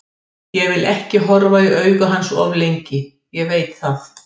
Ég vil ekki horfa í augu hans of lengi, ég veit það.